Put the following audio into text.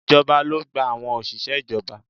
Ìjọba ló gba àwọn òṣìṣẹ́ ìjọba